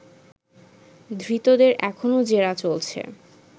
ধৃতদের এখনও জেরা চলছে